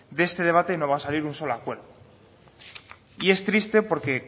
de este debate no va a salir un solo acuerdo y es triste porque